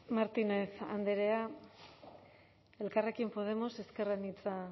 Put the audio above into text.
martínez andrea elkarrekin podemos ezker anitza